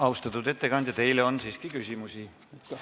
Austatud ettekandja, teile on siiski küsimusi.